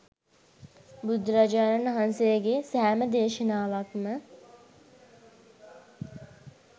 බුදුරජාණන් වහන්සේගේ සෑම දේශනාවක්ම